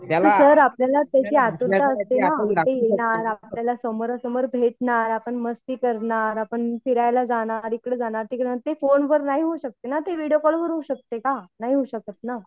Sir आपल्याला त्याची आतुरता असते ना ते येणार आपल्याला समोरासमोर भेटणार, आपण मस्ती करणार, आपण फिरायला जाणार आपण इकडे जाणार तिकडे जाणार. ते फोने वर नाही होऊ शकते ना ते व्हिडीओ कॉलवर होऊ शकते का नाही होऊ शकत ना